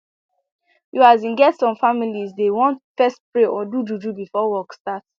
you asin get some families dey want fess pray or do juju before work start